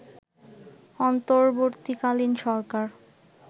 অন্তর্বর্তীকালীন সরকার